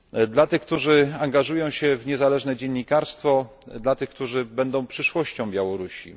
do tych, którzy angażują się w niezależne dziennikarstwo, do tych, którzy będą przyszłością Białorusi.